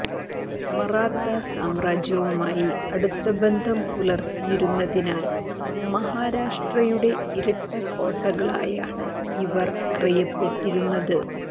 മറാത്ത സാമ്രാജ്യവുമായി അടുത്ത ബന്ധം പുലർത്തിയിരുന്നതിനാൽ മഹാരാഷ്ട്രയുടെ ഇരട്ട കോട്ടകളായാണ് ഇവ അറിയപ്പെട്ടിരുന്നത്